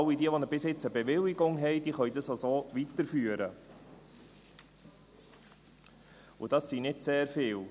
Alle, die bisher eine Bewilligung haben, können diese auch so weiterführen, und das sind nicht sehr viele.